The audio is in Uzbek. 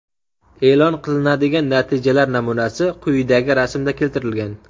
E’lon qilinadigan natijalar namunasi quyidagi rasmda keltirilgan.